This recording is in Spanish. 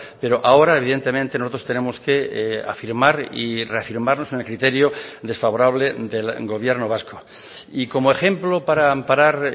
pero ahora evidentemente nosotros tenemos que afirmar y reafirmarnos en el criterio desfavorable del gobierno vasco y como ejemplo para amparar